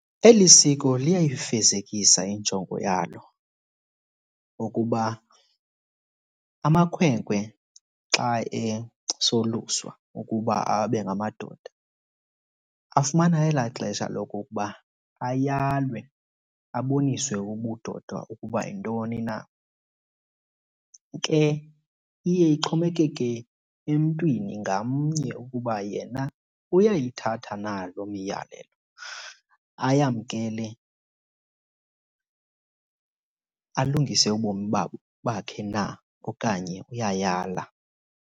Eli siko liyayifezekisa injongo yalo ukuba amakhwenkwe xa esoluswa ukuba abe ngamadoda afumana elaa xesha lokokuba ayalwe aboniswe ubudoda ukuba yintoni na. Ke iye ixhomekeke emntwini ngamnye ukuba yena uyayithatha na loo miyalelo ayamkele alungise ubomi bakhe na okanye uyayala.